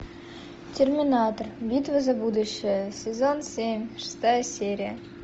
терминатор битва за будущее сезон семь шестая серия